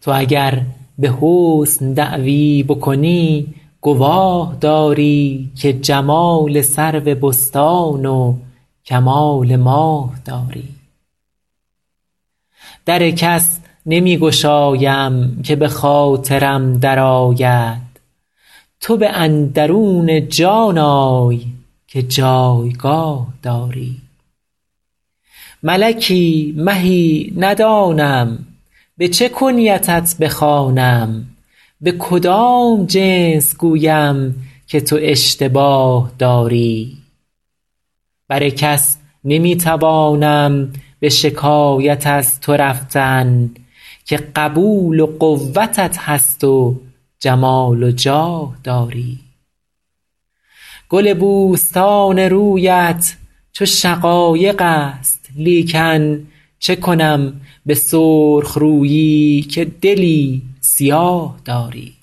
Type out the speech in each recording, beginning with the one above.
تو اگر به حسن دعوی بکنی گواه داری که جمال سرو بستان و کمال ماه داری در کس نمی گشایم که به خاطرم درآید تو به اندرون جان آی که جایگاه داری ملکی مهی ندانم به چه کنیتت بخوانم به کدام جنس گویم که تو اشتباه داری بر کس نمی توانم به شکایت از تو رفتن که قبول و قوتت هست و جمال و جاه داری گل بوستان رویت چو شقایق است لیکن چه کنم به سرخ رویی که دلی سیاه داری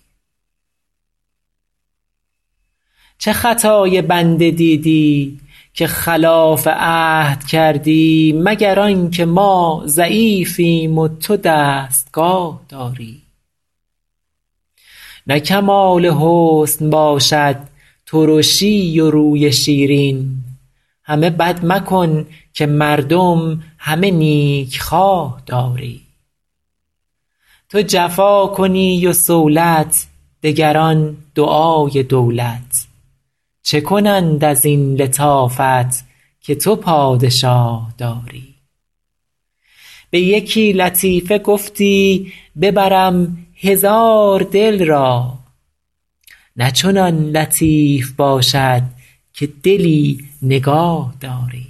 چه خطای بنده دیدی که خلاف عهد کردی مگر آن که ما ضعیفیم و تو دستگاه داری نه کمال حسن باشد ترشی و روی شیرین همه بد مکن که مردم همه نیکخواه داری تو جفا کنی و صولت دگران دعای دولت چه کنند از این لطافت که تو پادشاه داری به یکی لطیفه گفتی ببرم هزار دل را نه چنان لطیف باشد که دلی نگاه داری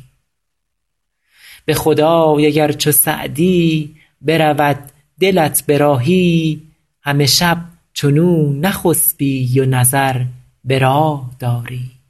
به خدای اگر چو سعدی برود دلت به راهی همه شب چنو نخسبی و نظر به راه داری